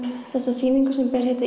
þessa sýningu sem ber heitið